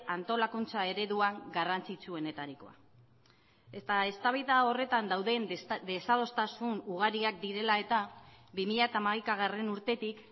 antolakuntza ereduan garrantzitsuenetarikoa eta eztabaida horretan dauden desadostasun ugariak direla eta bi mila hamaika urtetik